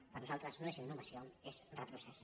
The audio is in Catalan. per nosaltres no és innovació és retrocés